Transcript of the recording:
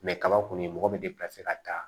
kaba kɔni mɔgɔ bɛ ka taa